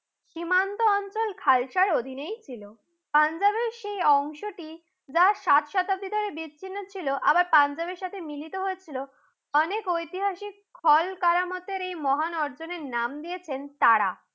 সীমান্ত অঞ্চল খালতার অধিনে ছিল। পাঞ্জাবের সে অংশটি যা সাত শতাব্দী ধরে বিচ্ছিন্ন ছিল তা আবার পাঞ্জাবের সাথে মিলিত হচ্ছিল। অনেক ঐতিহাসিক খলকারামাতের এই মহান অর্জনের নাম দিয়েছেন তারা।